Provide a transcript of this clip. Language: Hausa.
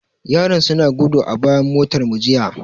Yaran suna gudu a bayan motarmu jiya.